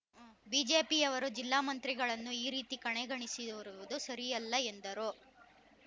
ಬಿಜೆಪಿಯವರು ಜಿಲ್ಲಾಮಂತ್ರಿಗಳನ್ನು ಈ ರೀತಿ ಕಡೆಗಣಿಸಿರುವುದು ಸರಿಯಲ್ಲ ಎಂದರು